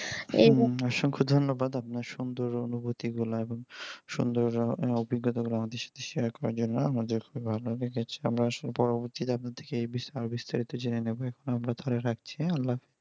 অসংখ দন্যবাদ আপনার সুন্দর অনুভূতি গুলা সুন্দর অভিজ্ঞতা আমাদের সাথে share করার জন্য আমাদের ভালো লেগেছে আমরা আসলে পরবর্তীতে আপনার কাছে এই বিস্তার বিস্তারিত ভাবে জেনে নিবো আপাতত রাখছি আল্লাহ হাফিজ